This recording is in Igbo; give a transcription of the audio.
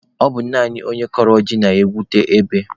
Ọ bụ naanị onye kọrọ ji na-egwute ebe